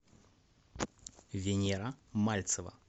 венера мальцева